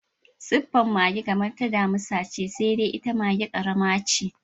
Suffar mage kamar ta damisa ce, sai dai ita maga ƙarama ce.